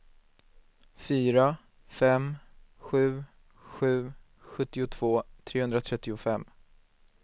fyra fem sju sju sjuttiotvå trehundratrettiofem